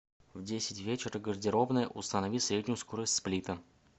в десять вечера гардеробная установи среднюю скорость сплита